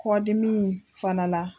Kɔdimi fana la.